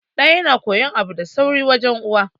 Ɗa yana koyon abu da sauri ne wajen uwa